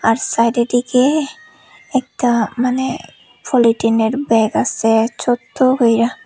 সাইডের দিকে একটা মানে পলিথিনের ব্যাগ আসে ছোট্ট কইরা।